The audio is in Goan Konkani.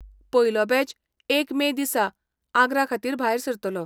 पयलो बॅच एक मे दिसा आग्रा खातीर भायर सरतलो.